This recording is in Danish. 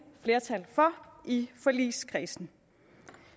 flertal for i forligskredsen